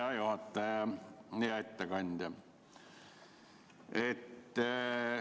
Hea juhataja ja ettekandja!